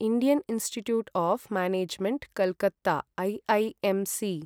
Indian institute of management Calcutta IIMC